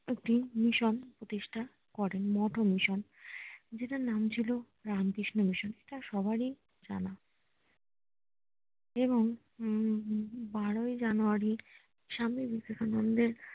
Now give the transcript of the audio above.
একটি মিশন প্রতিষ্ঠা করেন মঠ ও মিশন যেটার নাম ছিলো রামকৃষ্ণ মিশন তা সবারই জানা আহ এবং হম বারোই জানুয়ারী স্বামী বিবেকানন্দ এর